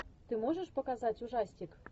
ты можешь показать ужастик